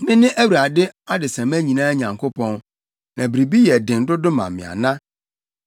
“Mene Awurade adesamma nyinaa Nyankopɔn. Na biribi yɛ den dodo ma me ana?